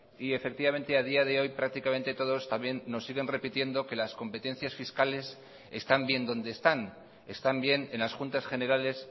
y efectivamente a día de hoy prácticamente todos también nos siguen repitiendo que las competencias fiscales están bien donde están están bien en las juntas generales